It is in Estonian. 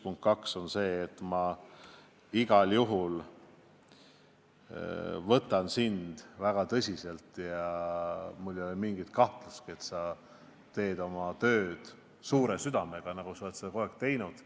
Punkt 2 on see, et ma igal juhul võtan sind väga tõsiselt ja mul ei ole mingit kahtlust, et sa teed oma tööd suure südamega, nagu sa oled seda kogu aeg teinud.